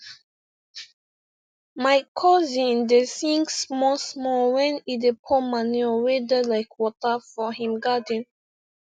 my cousin dey sing small small when e dey pour manure wey da like water for him garden